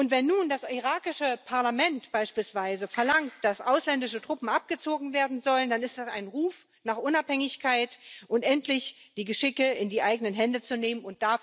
Wenn nun das irakische Parlament beispielsweise verlangt, dass ausländische Truppen abgezogen werden sollen, dann ist das ein Ruf nach Unabhängigkeit und danach, endlich die Geschicke in die eigenen Hände zu nehmen.